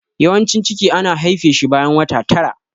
Yawancin ciki ana haife shi bayan wata tara.